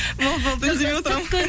болды болды үндемей отырамын